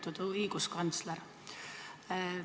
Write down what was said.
Lugupeetud õiguskantsler!